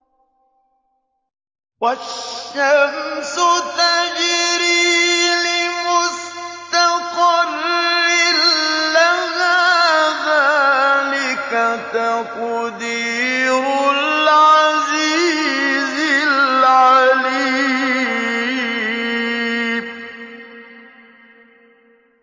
وَالشَّمْسُ تَجْرِي لِمُسْتَقَرٍّ لَّهَا ۚ ذَٰلِكَ تَقْدِيرُ الْعَزِيزِ الْعَلِيمِ